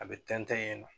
A bɛ tɛntɛn yen nɔ